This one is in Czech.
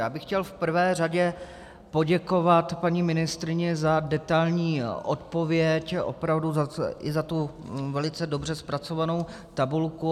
Já bych chtěl v prvé řadě poděkovat paní ministryni za detailní odpověď, opravdu i za tu velice dobře zpracovanou tabulku.